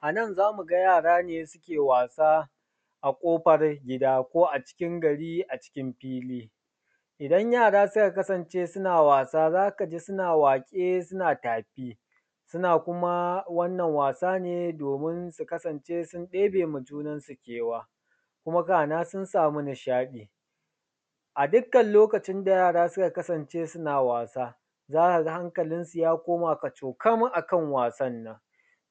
A nan za mu ga yara ne suke wasa a ƙofar gida ko a cikin gari a cikin fili. Idan yara suka kasance suna wasa zaka ji suna waƙe suna tafi, suna kuma wannan wasa ne domin sun kasance sun ɗebe wa junansu kewa, kuma kana sun samu nishaɗi. A dukkan lokacin da yara suka kasance suna wasa za ka ga hakalinsu ya koma kacokan a kan wasan nan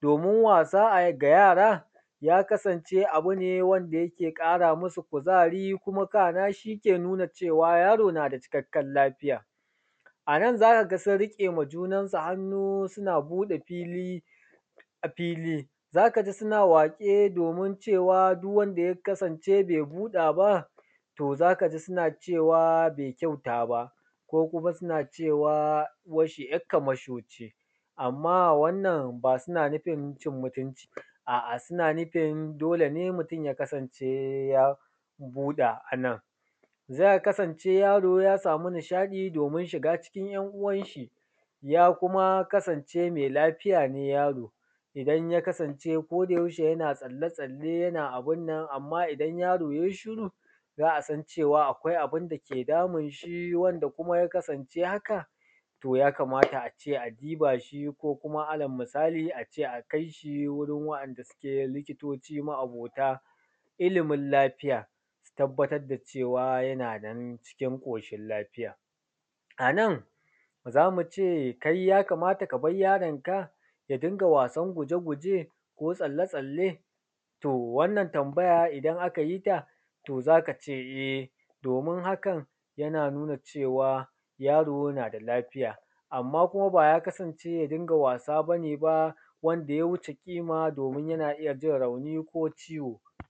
domin wasa ga yara ya kasance abu ne wanda yake ƙara masu kuzari kuma kana shi ne nuna cewa yaro na da cikakken lafiya. A nan za ka ga sun riƙe wa junansu hannu suna a buɗe fili fili za ka ji suna waƙe domin duk wanda ya kasance bai buɗe ba to za ka ji suna cewa bai kyauta ba, ko kuma suna cewa uwan shi yar kamasho ce. Amma wannan ba suna nufin cin mutunci bane, a’a suna nufin dole ne mutun ya kasance ya buɗa a nan. Zai kasance yaro ya samu nishaɗi domin shiga cikin ‘yan uwan shi, ya kuma kasance mai lafiya ne yaron, idan yakasance koda yaushe yana tsalle tsalle yana abunan, amma idan yaro yai shiru za a san cewa akwai abun da ke damun shi wandan kuma ya kasance haka, to ya kamata a ce a duba shi ko allal misali akai shi wurin wa’anda a ce likitoci ma’abota lafiya su tabbatar da cewa yana nan cikin ƙoshin lafiya. A nan zamu ce kai ya kamata ka bar yaronka ya dinga wasan gujeguje ko tsalle tsalle? To wannan tambaya idan aka yi ta sai kace e, domin hakan ya nuna cewa yaro na da lafiya. Amma kuma haka ba ya kasance ya dinga wasa bane ba wanda ya wuce kima domin yana iya jin rauni ko ciwo.